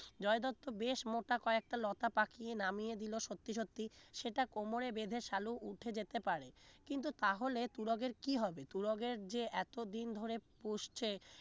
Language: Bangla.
জয় দত্ত বেশ মোটা কয়েকটা লতা পাকিয়ে নামিয়ে দিল সত্যি সত্যি সেটা কোমরে বেধে সালু উঠে যেতে পারে কিন্তু তাহলে তুরগের কি হবে তুরগের যে এতদিন ধরে পুষছে